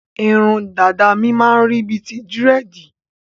Irun dàda mi máa rí bíi ti Dírẹ̀dì.